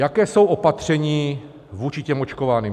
Jaká jsou opatření vůči těm očkovaným?